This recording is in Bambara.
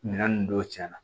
Minɛn ninnu dɔw cɛnna